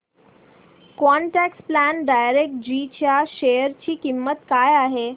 quant tax plan direct G च्या share ची किंमत काय आहे